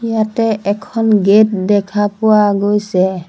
ইয়াতে এখন গেট দেখা পোৱা গৈছে।